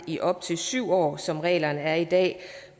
i op til syv år som reglerne er i dag